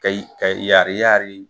Kayi ka yari yari